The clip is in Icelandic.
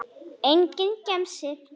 Enginn gemsi.